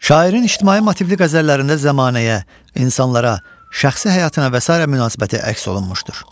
Şairin ictimai motivli qəzəllərində zəmanəyə, insanlara, şəxsi həyatına və sairə münasibəti əks olunmuşdur.